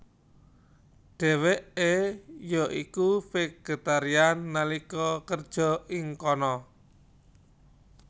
Dheweke ya iku vegetarian nalika kerja ing kana